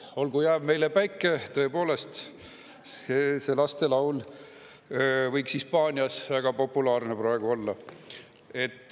"Olgu jääv meile päike …", tõepoolest, see lastelaul võiks Hispaanias väga populaarne praegu olla.